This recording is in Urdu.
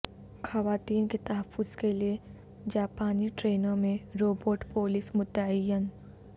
خواتین کے تحفظ کے لیے جاپانی ٹرینوں میں روبوٹ پولیس متعین